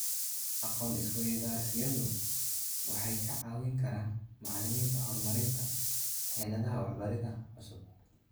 Aqoon-is-weydaarsiyadu waxay ka caawin karaan macallimiinta horumarinta xeeladaha waxbaridda cusub.